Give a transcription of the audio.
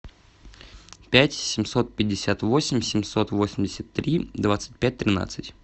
пять семьсот пятьдесят восемь семьсот восемьдесят три двадцать пять тринадцать